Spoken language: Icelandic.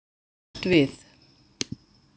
Honum varð hverft við.